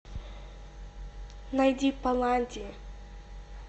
найди паладди